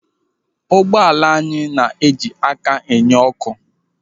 Ụgbọala anyị na-eji aka enye ọ́kụ́.